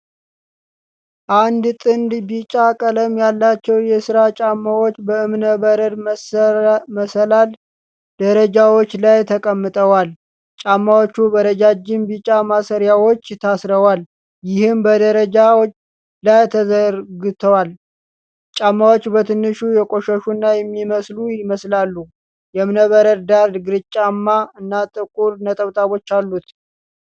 አንድ ጥንድ ቢጫ ቀለም ያላቸው የስራ ጫማዎች በእብነበረድ መሰላል ደረጃዎች ላይ ተቀምጠዋል። ጫማዎቹ በረጃጅም ቢጫ ማሰሪያዎች ታስረዋል፣ ይህም በደረጃው ላይ ተዘርግቷል። ጫማዎቹ በትንሹ የቆሸሹና የሚለበሱ ይመስላሉ። የእብነበረድ ዳራ ግራጫማ እና ጥቁር ነጠብጣቦች አሉት።